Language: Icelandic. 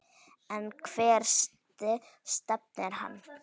En hvert stefnir hann?